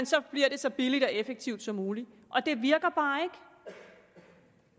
så bliver det så billigt og effektivt som muligt og det virker bare ikke